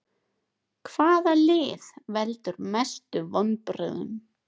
Hvaða lið veldur mestu vonbrigðum?